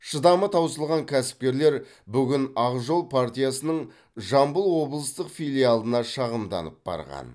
шыдамы таусылған кәсіпкерлер бүгін ақжол партиясының жамбыл облыстық филиалына шағымданып барған